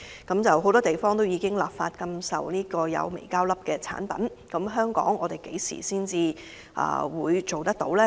全球許多地方已立法禁售含微膠粒的產品，但香港何時才會立法規管？